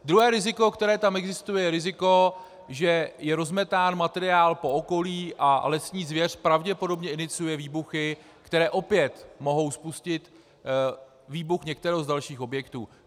Druhé riziko, které tam existuje, je riziko, že je rozmetán materiál po okolí a lesní zvěř pravděpodobně iniciuje výbuchy, které opět mohou spustit výbuch některého z dalších objektů.